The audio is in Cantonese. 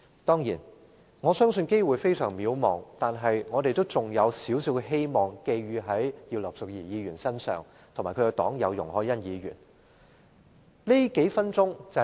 雖然我相信機會非常渺茫，但仍將少許希望寄予葉劉淑儀議員及其黨友容海恩議員身上。